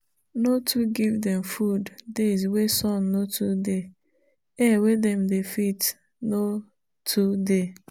no too give them food days wey sun no too dey-air wey them dey fit no too dey